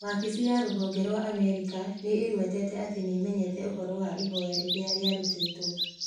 Wabici ya Rũhonge rwa Amerika nĩ ĩgwetete atĩ nĩĩmenyete ũhoro wa ihoya rĩrĩa rĩarutĩtwo.